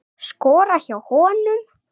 Skora hjá honum??